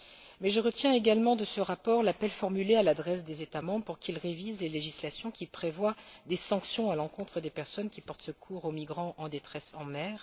Mais je retiens également de ce rapport l'appel formulé à l'adresse des États membres pour qu'ils révisent les législations prévoyant des sanctions à l'encontre des personnes qui portent secours aux migrants en détresse en mer.